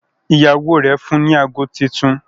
Ìyàwó rẹ fún ní àgọ títún